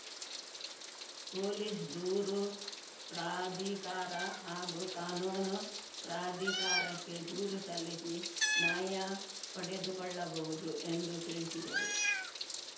police ದೂರು ಪ್ರಾಧಿಕಾರ ಹಾಗೂ ಕಾನೂನು ಪ್ರಾಧಿಕಾರಕ್ಕೆ ದೂರು ಸಲ್ಲಿಸಿ ನ್ಯಾಯ ಪಡೆದುಕೊಳ್ಳಬಹುದು ಎಂದು ತಿಳಿಸಿದರು